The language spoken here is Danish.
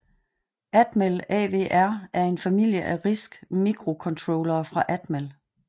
Atmel AVR er en familie af RISC mikrocontrollere fra Atmel